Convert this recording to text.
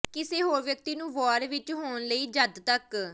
ਕਿਸੇ ਹੋਰ ਵਿਅਕਤੀ ਨੂੰ ਵਾਰ ਵਿੱਚ ਹੋਣ ਲਈ ਜਦ ਤੱਕ